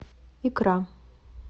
икра